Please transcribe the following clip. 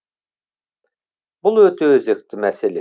бұл өте өзекті мәселе